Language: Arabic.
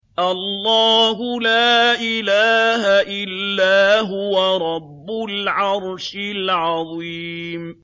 اللَّهُ لَا إِلَٰهَ إِلَّا هُوَ رَبُّ الْعَرْشِ الْعَظِيمِ ۩